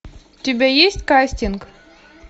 у тебя есть кастинг